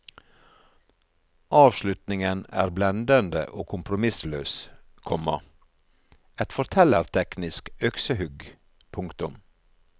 Avslutningen er blendende og kompromissløs, komma et fortellerteknisk øksehugg. punktum